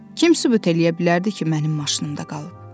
Kim sübut eləyə bilərdi ki, mənim maşınımda qalıb?